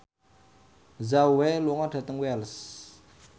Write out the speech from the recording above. Zhao Wei lunga dhateng Wells